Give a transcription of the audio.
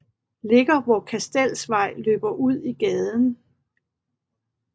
Ligger hvor Kastelsvej løber ud i gaden